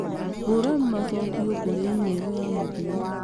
hũra macokio kũrĩ e-mail ya mũthia